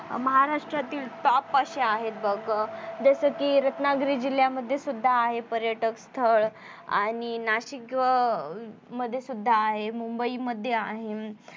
महाराष्ट्रातील top असे आहेत बघ जस कि रत्नागिरी जिल्यामध्ये सुद्धा आहे पर्यटक स्थळ आणि नाशिक मध्ये सुद्धा आहे मुंबई मध्ये आहे.